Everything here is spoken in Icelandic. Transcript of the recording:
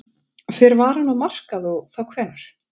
Fer varan á markað og þá hvenær?